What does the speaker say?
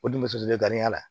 O dun musodenya la